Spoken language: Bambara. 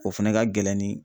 O fɛnɛ ka gɛlɛn ni